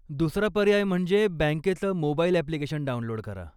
दुसरा पर्याय म्हणजे बँकेचं मोबाईल ॲप्लिकेशन डाऊनलोड करा.